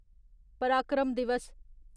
पराक्रम दिवस